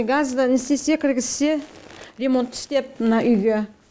газды не істесе кіргізсе ремонт істеп мына үйге